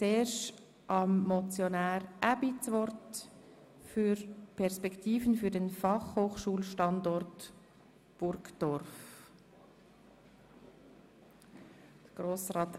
Ich erteile zuerst dem Motionär Aebi das Wort zur Motion «Perspektiven für den Fachhochschulstandort Burgdorf».